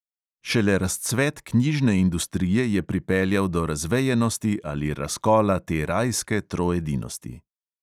Šele razcvet knjižne industrije je pripeljal do razvejenosti ali razkola te rajske troedinosti.